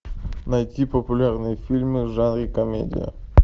найти популярные фильмы в жанре комедия